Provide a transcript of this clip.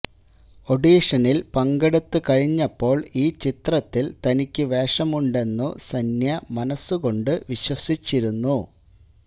ഒഡീഷനില് പങ്കെടുത്തു കഴിഞ്ഞപ്പോള് ഈ ചിത്രത്തില് തനിക്ക് വേഷം ഉണ്ടെന്നു സന്യ മനസുകൊണ്ട് വിശ്വസിച്ചിരുന്നു